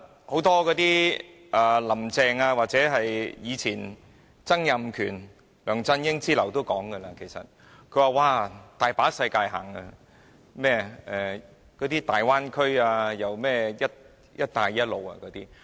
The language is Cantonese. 許多"林鄭"、曾蔭權及梁振英之流均經常提及甚麼有很多機遇、大灣區、"一帶一路"等。